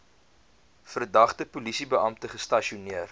verdagte polisiebeampte gestasioneer